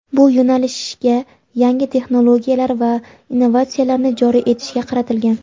bu yo‘nalishga yangi texnologiyalar va innovatsiyalarni joriy etishga qaratilgan.